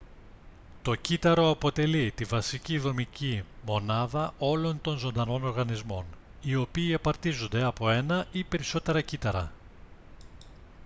το κύτταρο αποτελεί τη βασική δομική μονάδα όλων των ζωντανών οργανισμών οι οποίοι απαρτίζονται από ένα ή περισσότερα κύτταρα